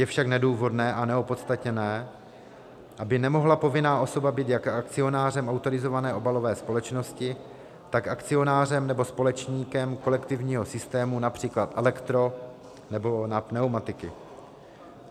Je však nedůvodné a neopodstatněné, aby nemohla povinná osoba být jak akcionářem autorizované obalové společnosti, tak akcionářem nebo společníkem kolektivního systému, například elektro nebo na pneumatiky.